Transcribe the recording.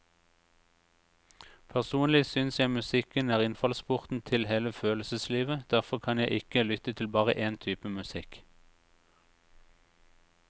Personlig syns jeg musikken er innfallsporten til hele følelseslivet, derfor kan jeg ikke lytte til bare én type musikk.